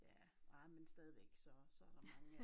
Ja ej men stadigvæk så så der mange af